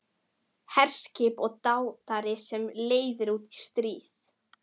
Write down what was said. HERSKIP OG DÁTAR SEM LEIÐIR ÚT Í STRÍÐ